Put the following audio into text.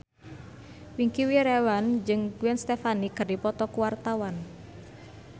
Wingky Wiryawan jeung Gwen Stefani keur dipoto ku wartawan